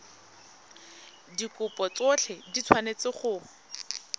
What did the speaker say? dikopo tsotlhe di tshwanetse go